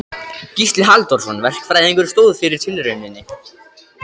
Gísli Halldórsson verkfræðingur stóð fyrir tilrauninni.